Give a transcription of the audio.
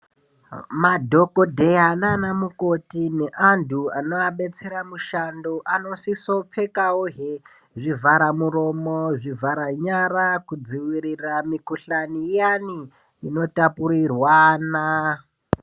Madhokodheya naanamukoti neanthu anoabetsera mushando anosisopfekawohe, zvivharamuromo, zvivharanyara kudzivirira mukhuhlani iyani, inotapurirwana.